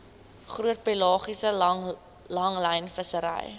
groot pelagiese langlynvissery